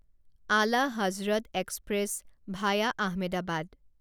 Ala Hazrat express via Ahmedabad